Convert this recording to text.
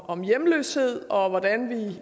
om hjemløshed om hvordan vi